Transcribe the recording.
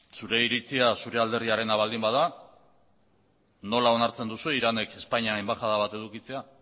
zure iritzia zure alderdiarena baldin bada nola onartzen duzue iranek espainian enbaxada bat edukitzea